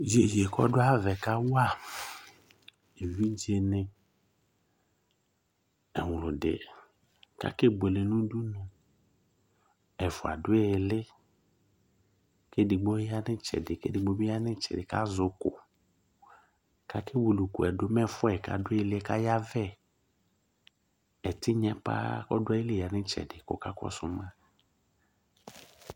Jeje kɔdʋ ayavɛ kawa evidze nɩ ewlʋdɩ kakebuele nudunu; ɛfʋa dʋ ɩɩlɩ, kedigbo ya nɩtsɛdɩ kedigbo bɩ ya nɩtsɛdɩ kzɛ ʋkʋ,kake wili ʋkʋɛdʋ mɛ ɛfʋaɛ kadʋ ɩɩlɩɛ kayavɛƐtɩnyɛ paa kɔ dʋ ayili ya nɩtsɛdɩ kɔka kɔsʋ ma